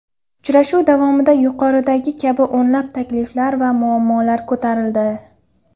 Uchrashuv davomida yuqoridagi kabi o‘nlab takliflar va muammolar ko‘tarildi.